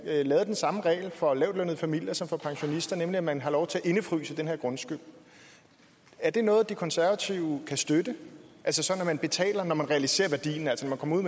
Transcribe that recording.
laver den samme regel for lavtlønnede familier som for pensionister nemlig at man har lov til at indefryse den her grundskyld er det noget de konservative kan støtte at man betaler når man realiserer værdien altså man kommer ud